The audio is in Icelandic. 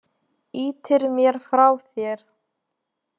Ýtir mér frá þér.